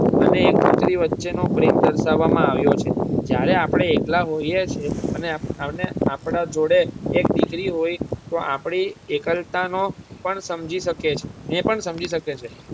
અને એક પુત્રી વચ્ચે નો પ્રેમ દર્શાવવામાં આવ્યો છે. જ્યારે આપડે એકલા હોઈએ છીએ અને આપડા જોડે એક દીકરી હોય તો આપડી એકલતા નો પણ સમજી શકે ને પણ સમજી શકે છે.